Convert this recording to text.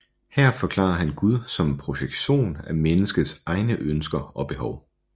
Her forklarer han Gud som en projektion af menneskets egne ønsker og behov